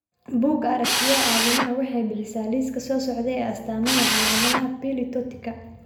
Bugga Aragtiyaha Aadanaha waxay bixisaa liiska soo socda ee astaamaha iyo calaamadaha Pili tortika.